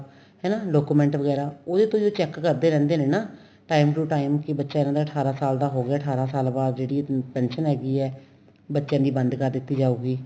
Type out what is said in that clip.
ਹਨਾ document ਵਗੈਰਾ ਉਹਦੇ ਤੋਂ ਜੇ check ਕਰਦੇ ਰਹਿੰਦੇ ਨੇ ਨਾ time to time ਕੀ ਬੱਚਾ ਇੰਨਾ ਦਾ ਅਠਾਰਾ ਸਾਲ ਦਾ ਹੋ ਗਿਆ ਅਠਾਰਾ ਸਾਲ ਬਾਅਦ ਜਿਹੜੀ pension ਹੈਗੀ ਏ ਬੱਚਿਆਂ ਦੀ ਬੰਦ ਕਰ ਦਿੱਤੀ ਜਾਉਗੀ